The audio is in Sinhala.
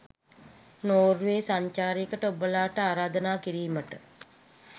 නෝර්වේ සංචාරයකට ඔබලාට ආරාධනා කිරීමට